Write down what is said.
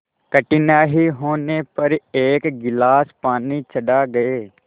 कठिनाई होने पर एक गिलास पानी चढ़ा गए